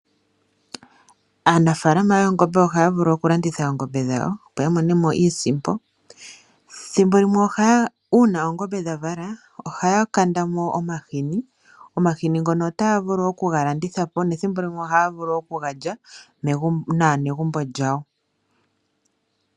Aanafaalama yoongombe ohaya vulu okulanditha oongombe dhawo, opo ya mone mo iisimpo. Ethimbo limwe ngele oongombe dha vala ohaya kanda mo omahini. Omahini ngono otaya vulu okuga landitha po nethimbo limwe ohaya vulu okuga lya naanegumbo lyawo.